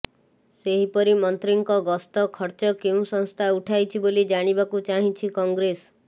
ସେହିପରି ମନ୍ତ୍ରୀଙ୍କ ଗସ୍ତ ଖର୍ଚ୍ଚ କେଉଁ ସଂସ୍ଥା ଉଠାଇଛି ବୋଲି ଜାଣିବାକୁ ଚାହିଁଛି କଂଗ୍ରେସ